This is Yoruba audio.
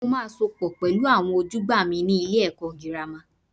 Mo máa sopọ̀ pẹ̀lú àwọn ojúgbà mi nílé ẹ̀kọ́ girama.